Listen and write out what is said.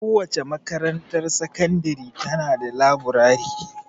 Kowace makarantar sakandiri ta na da laburare.